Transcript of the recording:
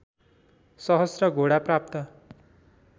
सहस्र घोडा प्राप्त